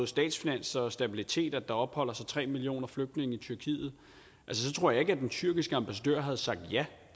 statsfinanser og stabilitet at der opholder sig tre millioner flygtninge i tyrkiet tror jeg ikke den tyrkiske ambassadør havde sagt ja